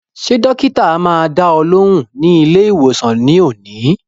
Ṣé dọ́kítá máa dá ọ lóhùn ní ilé ìwòsàn ní òní?